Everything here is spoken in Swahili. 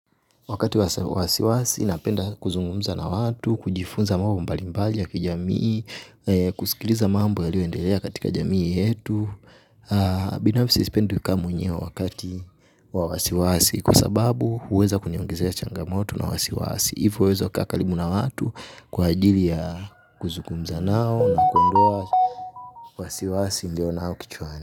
Wakati wasiwasi inapenda kuzungumza na watu, kujifunza mambo mbalimbali ya kijamii, kusikiliza mambo yaliyoendelea katika jamii yetu, binafsi sipendi kukaa mwenyewe wakati wa wasiwasi kwa sababu huweza kuniongezea changamoto na wasiwasi, hivyo huweza kukaa karibu na watu kwa ajili ya kuzungumza nao na kuondoa wasiwasi nilionao kichwani.